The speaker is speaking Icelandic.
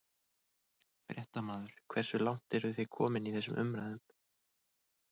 Fréttamaður: Hversu langt eru þið komin í þessum umræðum?